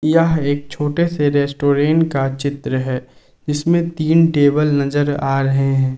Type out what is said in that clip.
यह एक छोटे से रेस्टोरेंट का चित्र है इसमें तीन टेबल नजर आ रहे हैं।